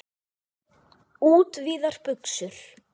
Útvíðar buxur.